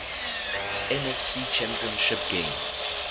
nfc championship game